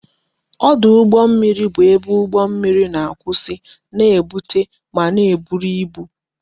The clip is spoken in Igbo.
Ọdụ ụgbọ mmiri bụ ebe ụgbọ mmiri na-akwụsị na-ebutu ma na-eburu ibu